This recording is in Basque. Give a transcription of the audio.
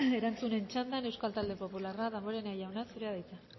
erantzuten txandan euskal talde popularra damborenea jauna zurea da hitza